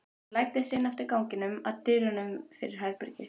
Hún læddist inn eftir ganginum, að dyrunum fyrir herbergi